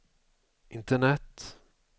internet